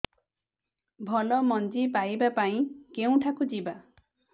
ଭଲ ମଞ୍ଜି ପାଇବା ପାଇଁ କେଉଁଠାକୁ ଯିବା